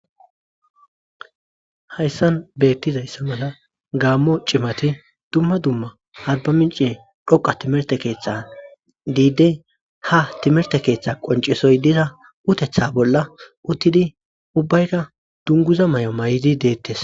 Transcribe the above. Hayssan beettizayssa mala gaammo cimati dumma dumma alba minci dhoqa timerte keeththa diide ha timerte keeththa qoncesoy diza utetha bolla uttidi ubbayka dunguza may'o may'di deettes.